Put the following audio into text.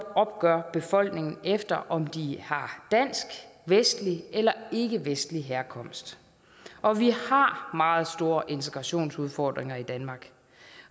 opgør befolkningen efter om de har dansk vestlig eller ikkevestlig herkomst og vi har meget store integrationsudfordringer i danmark